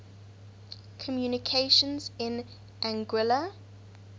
communications in anguilla